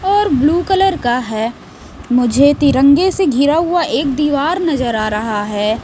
और blue colour का है मुझे तिरंगे से घिरा हुआ एक दीवार नजर आ रहा है।